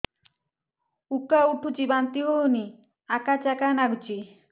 ଉକା ଉଠୁଚି ବାନ୍ତି ହଉନି ଆକାଚାକା ନାଗୁଚି